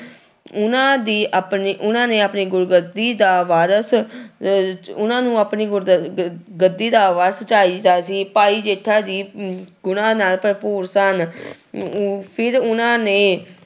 ਉਹਨਾਂ ਦੀ ਆਪਣੀ ਉਹਨਾਂ ਨੇ ਆਪਣੀ ਗੁਰਗੱਦੀ ਦਾ ਵਾਰਿਸ਼ ਅਹ ਉਹਨਾਂ ਨੂੰ ਆਪਣੀ ਗੁਰ ਗੱਦੀ ਦਾ ਵਾਰਿਸ਼ ਚਾਹੀਦਾ ਸੀ ਭਾਈ ਜੇਠਾ ਜੀ ਗੁਣਾਂ ਨਾਲ ਭਰਪੂਰ ਸਨ ਫਿਰ ਉਹਨਾਂ ਨੇ